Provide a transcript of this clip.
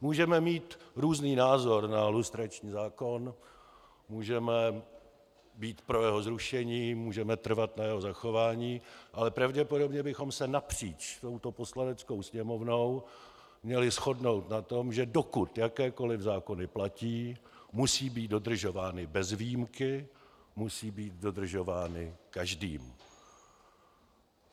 Můžeme mít různý názor na lustrační zákon, můžeme být pro jeho zrušení, můžeme trvat na jeho zachování, ale pravděpodobně bychom se napříč touto Poslaneckou sněmovnou měli shodnout na tom, že dokud jakékoliv zákony platí, musí být dodržovány bez výjimky, musí být dodržovány každým.